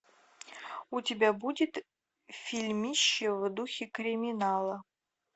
у тебя будет фильмище в духе криминала